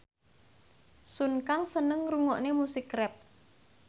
Sun Kang seneng ngrungokne musik rap